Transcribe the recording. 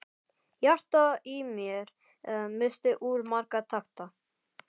Hjartað í mér missti úr marga takta.